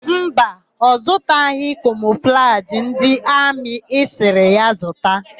Mba, ọ zụtaghị kamọflajị ndị amị ị sịrị ya zụta.